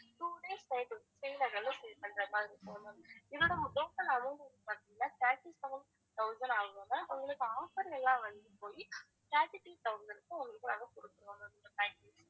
two days night வந்து ஸ்ரீநகர்ல stay பண்றது மாதிரி இருக்கும் ma'am இதோட total amount வந்து பாத்திங்கன்னா thirty-seven thousand ஆயிரும் ma'am உங்களுக்கு offer எல்லாம் வந்து போய் thirty-three thousand உங்களுக்கு நாங்க குடுக்கறோம் ma'am இந்த package